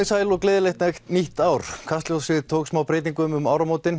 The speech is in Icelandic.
sæl og gleðilegt nýtt ár kastljósið tók smá breytingum um áramótin